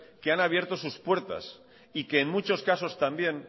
que han abierto sus puertas y que en muchos casos también